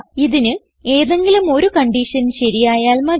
ഇതിന് ഏതെങ്കിലും ഒരു കൺഡിഷൻ ശരിയായാൽ മതി